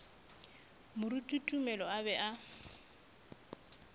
moruti tumelo a be a